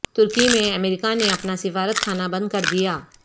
ترکی میں امریکہ نے اپنا سفارت خانہ بند کردیا